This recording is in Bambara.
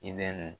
I bɛ nin